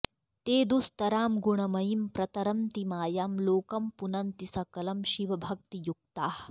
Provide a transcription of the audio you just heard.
ते दुस्तरां गुणमयीं प्रतरन्ति मायां लोकं पुनन्ति सकलं शिवभक्तियुक्ताः